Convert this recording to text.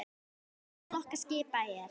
Helstu flokkar skipa eru